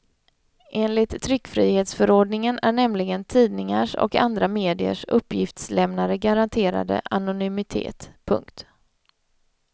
Enligt tryckfrihetsförordningen är nämligen tidningars och andra mediers uppgiftslämnare garanterade anonymitet. punkt